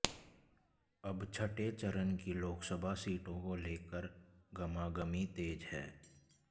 अब छठें चरण की लोकसभा सीटों को लेकर गहमागहमी तेज है